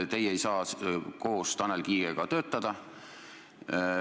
Teie ei saa koos Tanel Kiigega töötada.